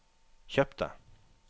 kjøpte